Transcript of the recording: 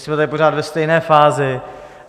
Jsme tady pořád ve stejné fázi.